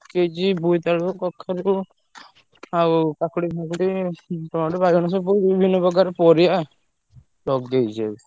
ପକେଇଛି ବୋଇତିଆଳୁ, କଖାରୁ ଆଉ କାକୁଡି ଫାକୁଡି ହୁଁ tomato ବାଇଗଣ ସବୁ ବିଭିନ୍ନ ପ୍ରକାର ପରିବା ଲଗେଇଛି ସବୁ।